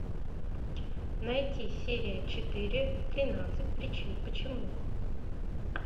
найти серия четыре тринадцать причин почему